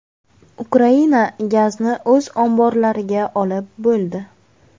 Ukraina gazni o‘z omborlariga olib bo‘ldi.